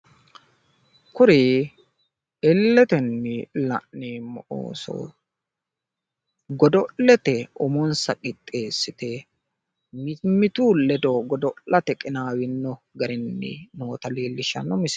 Kuri illetenni la'neemmo ooso godo'lete umonsa qixxeessite mimmitu ledo godo'late qinaawino garinni noota leellishshanno misileeti